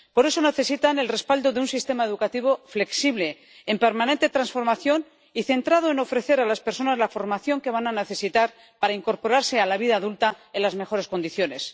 Por eso necesitan el respaldo de un sistema educativo flexible, en permanente transformación y centrado en ofrecer a las personas la formación que van a necesitar para incorporarse a la vida adulta en las mejores condiciones.